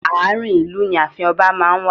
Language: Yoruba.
Ààrin ìlú ni ààfin ọba máa ń wà.